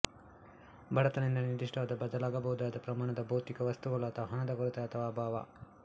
ಬಡತನ ಎಂದರೆ ನಿರ್ದಿಷ್ಟ ಬದಲಾಗಬಹುದಾದ ಪ್ರಮಾಣದ ಭೌತಿಕ ವಸ್ತುಗಳು ಅಥವಾ ಹಣದ ಕೊರತೆ ಅಥವಾ ಅಭಾವ